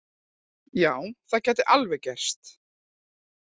Já, það gæti alveg gerst.